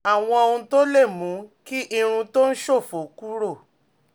Àwọn ohun tó lè mú kí irun tó ń ṣòfò kúrò